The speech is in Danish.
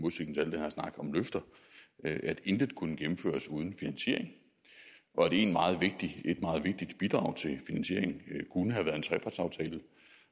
her snak om løfter at intet kunne gennemføres uden finansiering og at et meget vigtigt bidrag til finansieringen kunne have været en trepartsaftale